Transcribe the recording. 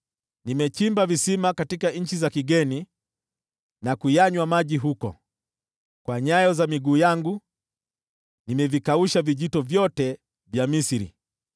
Nimechimba visima katika nchi za kigeni na kunywa maji yake. Kwa nyayo za miguu yangu nimekausha vijito vyote vya Misri.’